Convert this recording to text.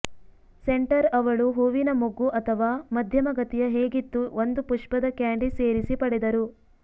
centre ಅವಳು ಹೂವಿನ ಮೊಗ್ಗು ಅಥವಾ ಮಧ್ಯಮ ಗತಿಯ ಹೇಗಿತ್ತು ಒಂದು ಪುಷ್ಪದ ಕ್ಯಾಂಡಿ ಸೇರಿಸಿ ಪಡೆದರು